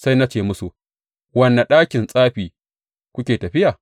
Sai na ce musu, Wane ɗakin tsafi kuke tafiya?’